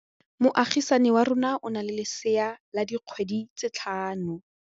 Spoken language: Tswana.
Moagisane wa rona o na le lesea la dikgwedi tse tlhano.